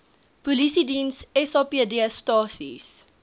polisiediens sapd stasies